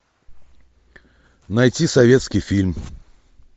найти советский фильм